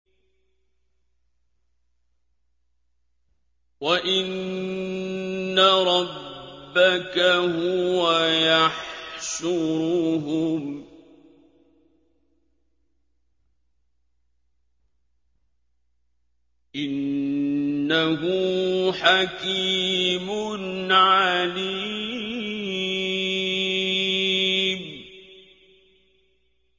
وَإِنَّ رَبَّكَ هُوَ يَحْشُرُهُمْ ۚ إِنَّهُ حَكِيمٌ عَلِيمٌ